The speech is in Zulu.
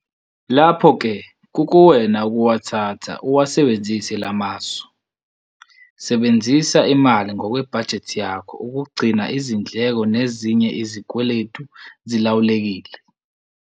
Lapho ke kukuwena ukuwathatha uwasebenzise la masu. Sebenzisa imali ngokwebhajethi yakho ukugcina izindleko nezinye izikweletu zilawulekile.